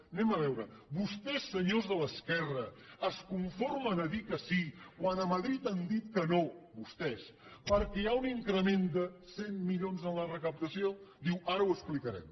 anem a veure ho vostès senyors de l’esquerra es conformen a dir que sí quan a madrid han dit que no vostès perquè hi ha un increment de cent milions en la recaptació diu ara ho explicarem